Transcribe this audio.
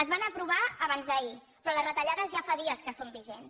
es van aprovar abans d’ahir però les retallades ja fa dies que són vigents